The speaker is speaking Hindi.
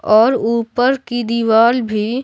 और ऊपर की दीवाल भी--